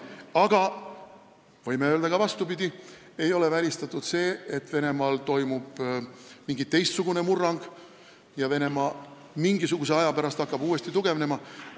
Aga võime öelda ka vastupidi: ei ole välistatud see, et Venemaal toimub mingi teistsugune murrang ja Venemaa hakkab mingisuguse aja pärast uuesti tugevnema.